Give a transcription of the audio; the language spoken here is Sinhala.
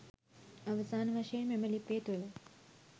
අවසාන වශයෙන් මෙම ලිපිය තුළ